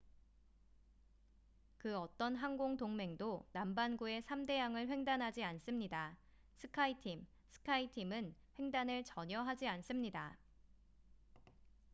그 어떤 항공 동맹도 남반구의 3대양을 횡단하지 않습니다스카이팀skyteam은 횡단을 전혀 하지 않습니다.